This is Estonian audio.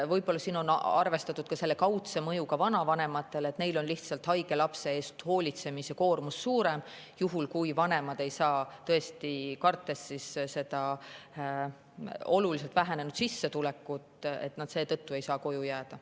Võib-olla siin on arvestatud ka kaudset mõju vanavanematele, sest neil on haige lapse eest hoolitsemise koormus suurem, juhul kui vanemad ei saa, kartes sissetuleku olulist vähenemist, koju jääda.